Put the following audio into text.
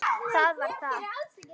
Það var það.